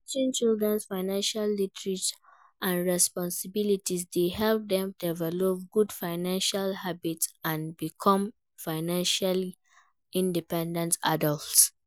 Teaching children financial literacy and responsibility dey help dem develop good financial habits and become financially independent adults.